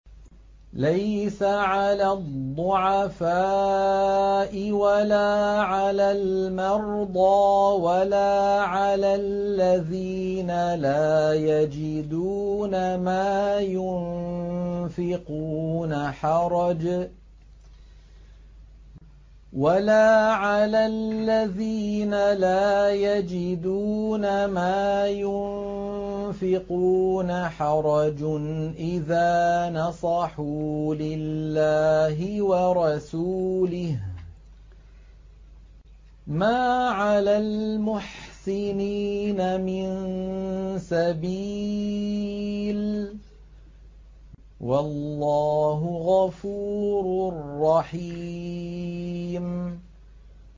لَّيْسَ عَلَى الضُّعَفَاءِ وَلَا عَلَى الْمَرْضَىٰ وَلَا عَلَى الَّذِينَ لَا يَجِدُونَ مَا يُنفِقُونَ حَرَجٌ إِذَا نَصَحُوا لِلَّهِ وَرَسُولِهِ ۚ مَا عَلَى الْمُحْسِنِينَ مِن سَبِيلٍ ۚ وَاللَّهُ غَفُورٌ رَّحِيمٌ